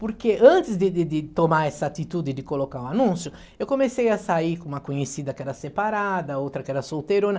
Porque antes de de de tomar essa atitude de colocar o anúncio, eu comecei a sair com uma conhecida que era separada, outra que era solteirona.